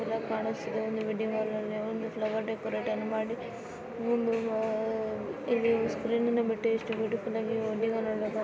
ಇದು ಸ್ಕ್ರೀನ್ ಬಿಟ್ಟೆ ಎಷ್ಟ ಬ್ಯುಟಿಫುಲ್ ಆಗಿ ವೆಡ್ಡಿಂಗ್ ಹಾಲ್ ಅಲ್ಲಿ ಫ್ಲವರ್ ಡೆಕೊರತೆ ಅನ್ನು ಮಾಡಿ ಮುಂದು ಇಲ್ಲಿ ಸ್ಕ್ರೀನ್ನು ವೆಡ್ಡಿಂಗ್ ಹಾಲ್ --